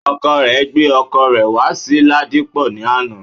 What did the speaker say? Ọkọ rẹ gbé ọkọ̀ rẹ̀ wá sí Ladipo ní àná